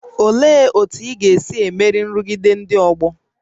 Olee otú ị ga-esi emeri nrụgide ndị ọgbọ?